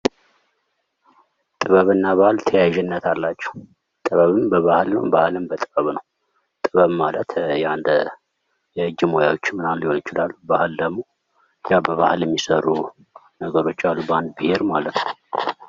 ጥበብ እና ባህል ተያያዥነት አላቸው። ጥበብን በባህል ባህልን በጥበብ ነው። ጥበብ ማለት የአንድ የእጅ ሙያዎች ምናምን ሊሆኑ ይችላሉ። ባህል ደግሞ ያው በባህል የሚሰሩ ነገሮች አሉ በአንድ ብሄር ማለት ነው።